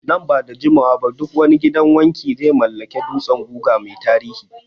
Nan ba da jimawa ba duk wani gidan wanki Ze mallaki dutsen guga mai tiriri